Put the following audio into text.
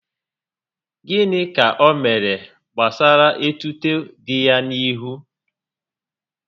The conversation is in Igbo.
Gịnị ka o mere gbasara etuto dị ya n'ihu?